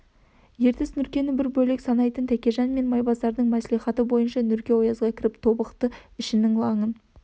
ертіс нұркені бір бөлек санайтын тәкежан мен майбасардың мәслихаты бойынша нұрке оязға кіріп тобықты ішінің лаңын